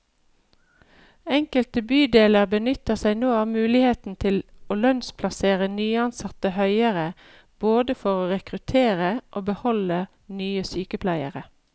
Enkelte bydeler benytter seg nå av muligheten til å lønnsplassere nyansatte høyere, både for å rekruttere og beholde nye sykepleiere.